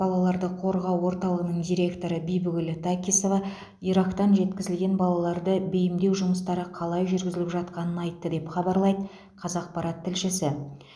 балаларды қолдау орталығының директоры бибігүл такисова ирактан жеткізілген балаларды бейімдеу жұмыстары қалай жүргізіліп жатқанын айтты деп хабарлайды қазақпарат тілшісі